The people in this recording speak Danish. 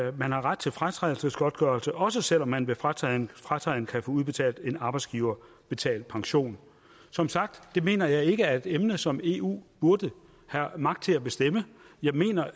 at man har ret til fratrædelsesgodtgørelse også selv om man ved fratræden fratræden kan få udbetalt en arbejdsgiverbetalt pension som sagt det mener jeg ikke er et emne som eu burde have magt til at bestemme jeg mener